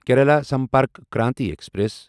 Kerala Sampark Kranti express